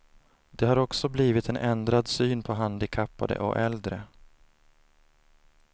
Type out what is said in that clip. Det har också blivit en ändrad syn på handikappade och äldre.